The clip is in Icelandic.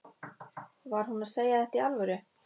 Var hún að segja þetta í alvöru?